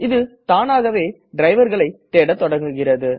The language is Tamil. இத தாணாகவே driverகளை தேடத்தொடங்குகிறது